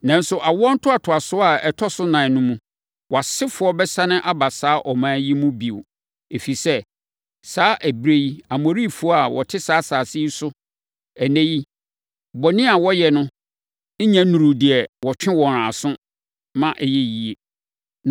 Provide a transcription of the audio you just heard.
Nanso, awoɔ ntoatoasoɔ a ɛtɔ so ɛnan no mu, wʼasefoɔ bɛsane aba saa ɔman yi mu bio. Ɛfiri sɛ, saa ɛberɛ yi, Amorifoɔ a wɔte saa asase yi so ɛnnɛ yi bɔne a wɔyɛ no nnya nnuruu deɛ wɔtwe wɔn aso ma ɛyɛ yie.”